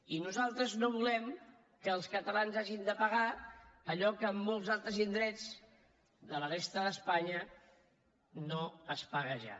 i nosaltres no volem que els catalans hagin de pagar allò que a molts altres indrets de la resta d’espanya no es paga ja